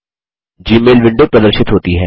Gmail window प्रदर्शित होती है